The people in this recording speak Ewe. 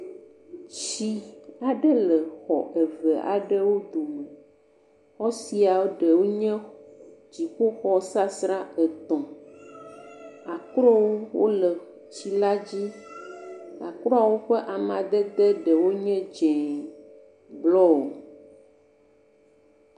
Tsi aɖe le xɔ eve aɖewo dome. Xɔ sia ɖewo nye dziƒo xɔ sasrã etɔ̃. Aklowo le tsi la dzi nakpɔ be woƒe amadede ɖewo nye dzɛ̃, blɔ …